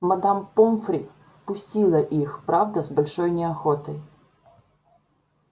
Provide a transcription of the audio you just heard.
мадам помфри пустила их правда с большой неохотой